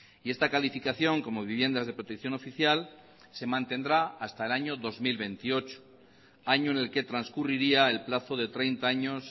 y esta calificación como viviendas de protección oficial se mantendrá hasta el año dos mil veintiocho año en el que transcurriría el plazo de treinta años